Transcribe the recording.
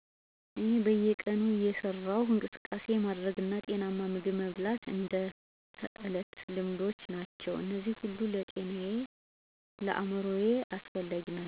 እኔ በየቀኑ እየሠራሁ እንቅስቃሴ ማድረግና ጤናማ ምግብ መበላት እንደ ተዕለት ልማዶቼ ናቸው። እነዚህ ሁሉ ለጤናዬ እና ለአእምሮዬ አስፈላጊ ናቸው።